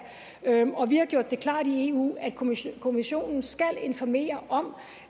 og vi har gjort det klart i eu at kommissionen kommissionen skal informere om